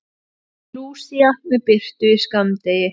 Lúsía með birtu í skammdegi